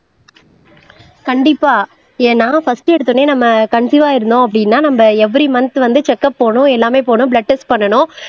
கண்டிப்பா ஏன்னா பர்ஸ்ட் எடுத்தவுடனே நம்ம கன்சீவா இருந்தோம் அப்படின்னா நம்ம எவ்வெரி மந்த் வந்து செக்க்குப் போணும் எல்லாமே போணும் பிளட் டெஸ்ட் பண்ணணும்